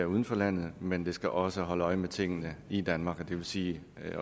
uden for landet men de skal også holde øje med tingene i danmark og det vil sige